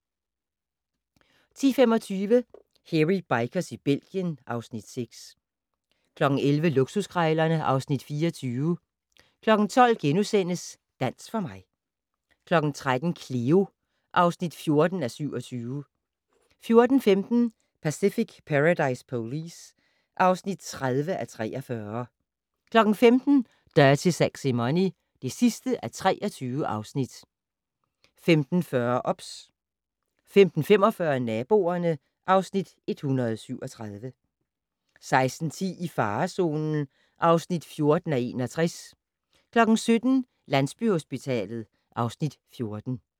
10:25: Hairy Bikers i Belgien (Afs. 6) 11:00: Luksuskrejlerne (Afs. 24) 12:00: Dans for mig * 13:00: Cleo (14:27) 14:15: Pacific Paradise Police (30:43) 15:00: Dirty Sexy Money (23:23) 15:40: OBS 15:45: Naboerne (Afs. 137) 16:10: I farezonen (14:61) 17:00: Landsbyhospitalet (Afs. 14)